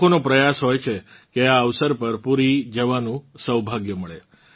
લોકોનો પ્રયાસ હોય છે કે આ અવસર પર પુરી જવાનું સૌભાગ્ય મળે